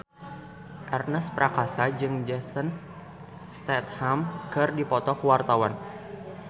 Ernest Prakasa jeung Jason Statham keur dipoto ku wartawan